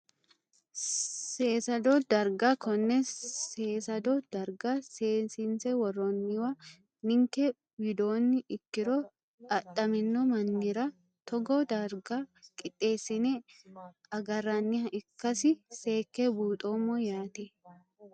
Seesado dargga konne seesado darga seesinise woroniwa ninke widooni ikiro adhamino manira togoo darga qixeesine agaraniha ikasi seeke buuxomo yaate.